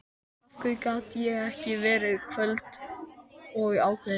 Af hverju gat ég ekki verið köld og ákveðin!